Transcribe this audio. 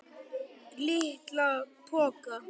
LITLA POKA!